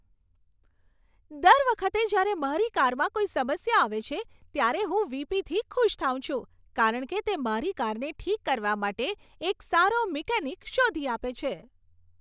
દર વખતે જ્યારે મારી કારમાં કોઈ સમસ્યા આવે છે, ત્યારે હું વી.પી.થી ખુશ થાઉં છું, કારણ કે તે મારી કારને ઠીક કરવા માટે એક સારો મિકેનિક શોધી આપે છે.